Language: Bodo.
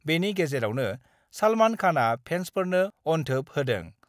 बेनि गेजेरावनो सलमान खानआ फेसफोरनो अनथोब होदों।